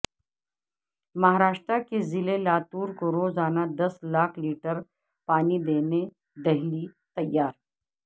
مہاراشٹرا کے ضلع لاتور کو روزانہ دس لاکھ لیٹر پانی دینےدہلی تیار